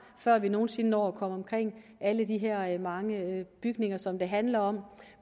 før vi nogen sinde når at komme omkring alle de her mange bygninger som det handler om